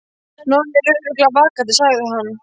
Nonni er örugglega vakandi, sagði hann.